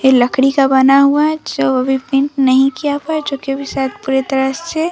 ये लकड़ी का बना हुआ है जो अभी पेण्ट नहीं किया हुआ है जो कि अभी सायद पूरी तरह से --